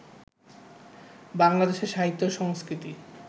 বাংলাদেশে সাহিত্য-সংস্কৃতি